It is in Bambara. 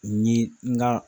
Ni nga